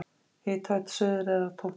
Hitaveita Suðureyrar tók til starfa.